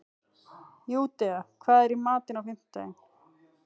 Júdea, hvað er í matinn á fimmtudaginn?